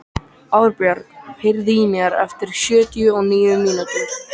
Árbjörg, heyrðu í mér eftir sjötíu og níu mínútur.